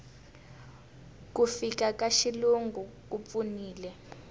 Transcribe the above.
ku fika ka xilungu ku pfunile